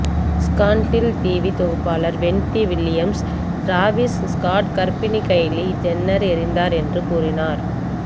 scandal TV தொகுப்பாளர் Wendy Williams Travis Scott கர்ப்பிணி Kylie Jenner எறிந்தார் என்று கூறினார்